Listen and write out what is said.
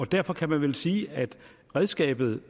derfor kan man vel sige at redskabet